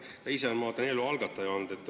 Ta ise on, ma vaatan, eelnõu algataja olnud.